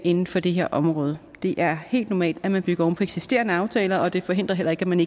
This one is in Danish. inden for det her område det er helt normalt at man bygger oven eksisterende aftaler og det forhindrer heller ikke at man